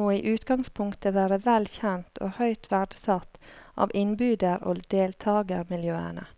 må i utgangspunktet være vel kjent og høyt verdsatt av innbyder og deltagermiljøene.